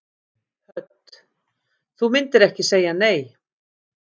Hödd: Þú myndir ekki segja nei?